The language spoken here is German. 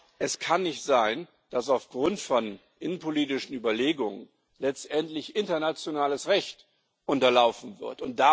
Aber es kann nicht sein, dass aufgrund von innenpolitischen Überlegungen letztendlich internationales Recht unterlaufen wird.